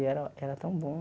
E era era tão bom.